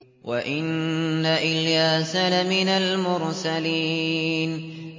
وَإِنَّ إِلْيَاسَ لَمِنَ الْمُرْسَلِينَ